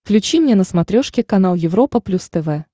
включи мне на смотрешке канал европа плюс тв